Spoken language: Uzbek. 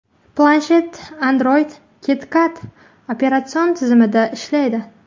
Planshet Android KitKat operatsion tizimida ishlaydi.